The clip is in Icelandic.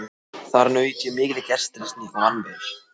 Þar naut ég mikillar gestrisni og vann vel.